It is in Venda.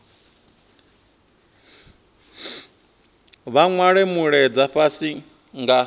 vha nwale mulaedza fhasi nga